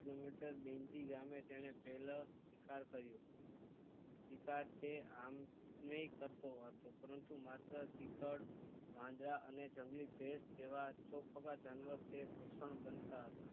Kilometers ગમે તેણે પેલો શિકાર કર્યો શિકાર તે આમ નાઈ કરતો હતો પરંતુ માત્ર ચિતડ વાંદરા અને જંગલી ભેંસો જેવા ચોપગા જાનવર તે ભક્ષણ બનતાં હતાં